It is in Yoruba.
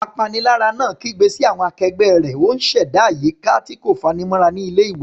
Apanilára náà kígbe sí àwọn akẹgbẹ́ rẹ̀, ó ń ṣẹ̀dá àyíká tí kò fanimọ́ra ní ilé-ìwé.